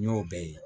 N y'o bɛɛ ye